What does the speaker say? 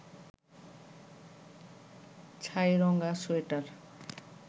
ছাইরঙা sweater